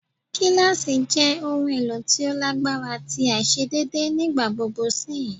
Gilasi jẹ ohun elo ti o lagbara ti aiṣedeede nigbagbogbo sihin